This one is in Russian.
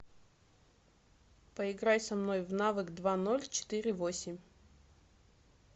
поиграй со мной в навык два ноль четыре восемь